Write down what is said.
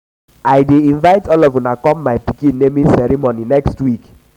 i dey invite all of una come my pikin um naming ceremony next week